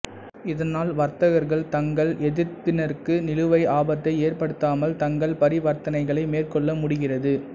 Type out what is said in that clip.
இதனால் வர்த்தகர்கள் தங்கள் எதிர்த்தரப்பினருக்கு நிலுவை ஆபத்தை ஏற்படுத்தாமல் தங்கள் பரிவர்த்தனைகளை மேற்கொள்ள முடிகிறது